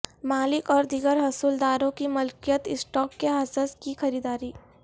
مالک اور دیگر حصول داروں کی ملکیت اسٹاک کے حصص کی خریداری